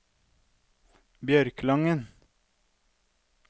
Bjørkelangen